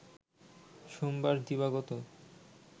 সোমবার দিবাগত